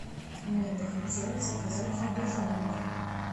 мне бы хотелось заказать еду в номер